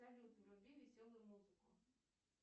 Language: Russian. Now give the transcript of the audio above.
салют вруби веселую музыку